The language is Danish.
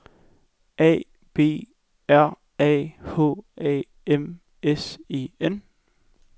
A B R A H A M S E N